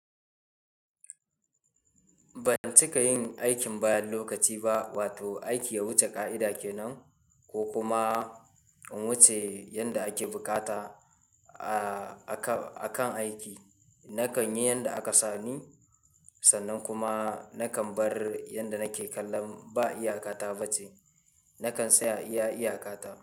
Ban cika yin aikin bayan lokaci ba, wato aiki ya wuce ƙa'ida kenan ko kuma in wuce yanda ake bukata akan, a kan aiki. Nakan yi yanda aka sani sannan kuma nakan bar yanda nake kallam ba iyakata ba ce. Nakan tsaya iya iyakata.